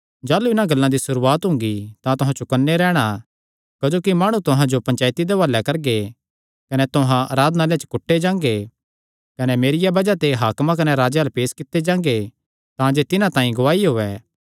जाह़लू इन्हां गल्लां दी सुरुआत हुंगी तां तुहां चौकन्ने रैहणा क्जोकि माणु तुहां जो पंचायती दे हुआले करगे कने तुहां आराधनालयां च कुट्टे जांगे कने मेरिया बज़ाह ते हाकमां कने राजेयां अल्ल पेस कित्ते जांगे तांजे तिन्हां तांई गवाही होयैं